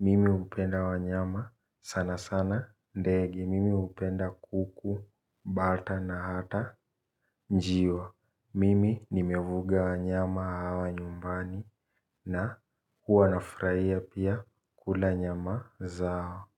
Mimi hupenda wanyama sana sana ndege. Mimi hupenda kuku, bata na hata njiwa. Mimi nimevuga wanyama hawa nyumbani na huwa nafurahia pia kula nyama zao.